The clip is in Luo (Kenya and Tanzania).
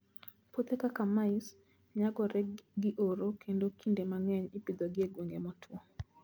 Puothe kaka mice, nyagore gi oro kendo kinde mang'eny ipidhogi e gwenge motwo.